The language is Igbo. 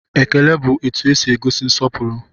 Ekele bụ etu esi egosi nsọpụrụ